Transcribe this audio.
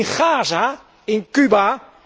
In Gaza, in Cuba?